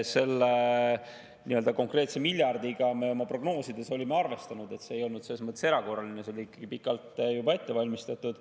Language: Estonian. Selle nii-öelda konkreetse miljardiga me oma prognoosides olime arvestanud, see ei olnud selles mõttes erakorraline, see oli ikkagi pikalt juba ette valmistatud.